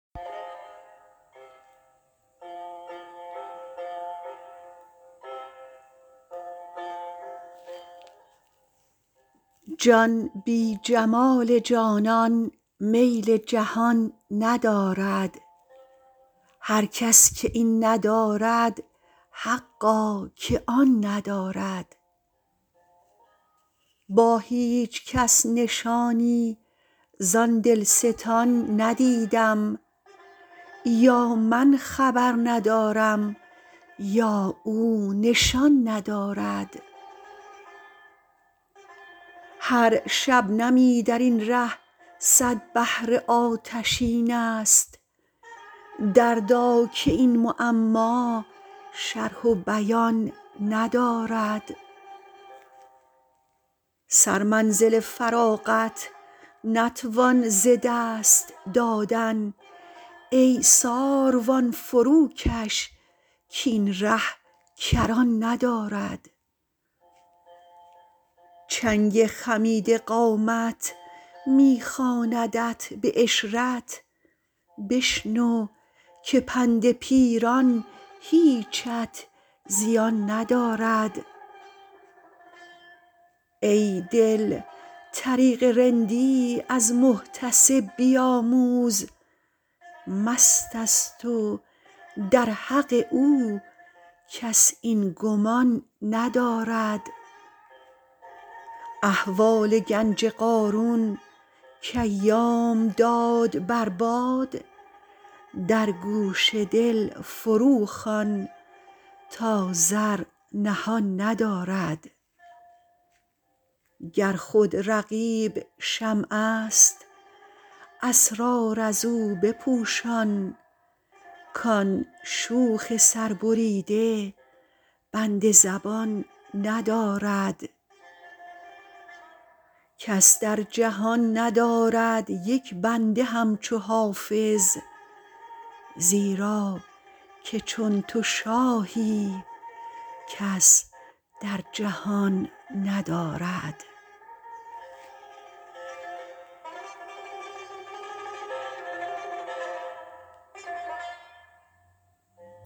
جان بی جمال جانان میل جهان ندارد هر کس که این ندارد حقا که آن ندارد با هیچ کس نشانی زان دلستان ندیدم یا من خبر ندارم یا او نشان ندارد هر شبنمی در این ره صد بحر آتشین است دردا که این معما شرح و بیان ندارد سرمنزل فراغت نتوان ز دست دادن ای ساروان فروکش کاین ره کران ندارد چنگ خمیده قامت می خواندت به عشرت بشنو که پند پیران هیچت زیان ندارد ای دل طریق رندی از محتسب بیاموز مست است و در حق او کس این گمان ندارد احوال گنج قارون کایام داد بر باد در گوش دل فروخوان تا زر نهان ندارد گر خود رقیب شمع است اسرار از او بپوشان کان شوخ سربریده بند زبان ندارد کس در جهان ندارد یک بنده همچو حافظ زیرا که چون تو شاهی کس در جهان ندارد